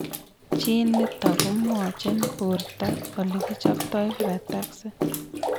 Gene nitok komwachin borto olekicheptoi frataxin